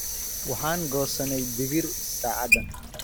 Waxaan goosanay digiir saacadan.